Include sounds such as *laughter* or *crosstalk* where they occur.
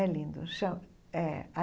É lindo *unintelligible* é.